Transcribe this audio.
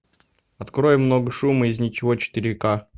открой много шума из ничего четыре ка